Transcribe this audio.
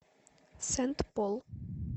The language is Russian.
сент пол